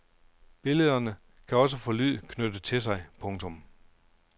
Billederne kan også få lyd knyttet til sig. punktum